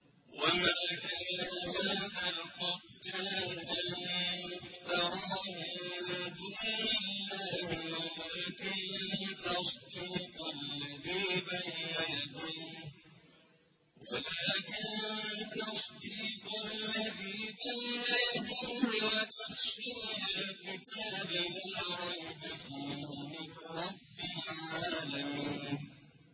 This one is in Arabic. وَمَا كَانَ هَٰذَا الْقُرْآنُ أَن يُفْتَرَىٰ مِن دُونِ اللَّهِ وَلَٰكِن تَصْدِيقَ الَّذِي بَيْنَ يَدَيْهِ وَتَفْصِيلَ الْكِتَابِ لَا رَيْبَ فِيهِ مِن رَّبِّ الْعَالَمِينَ